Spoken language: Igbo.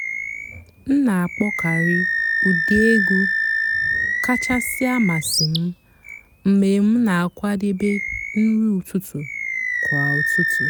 m nà-àkpọ́kàrị́ ụ́dị́ ègwú kàchàsị́ àmásị́ m mg̀bé m nà-àkwàdébé nrí ụ́tụtụ́ kwà ụ́tụtụ́.